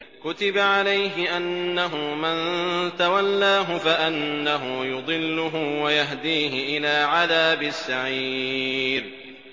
كُتِبَ عَلَيْهِ أَنَّهُ مَن تَوَلَّاهُ فَأَنَّهُ يُضِلُّهُ وَيَهْدِيهِ إِلَىٰ عَذَابِ السَّعِيرِ